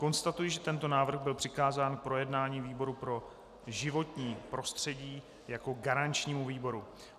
Konstatuji, že tento návrh byl přikázán k projednání výboru pro životní prostředí jako garančnímu výboru.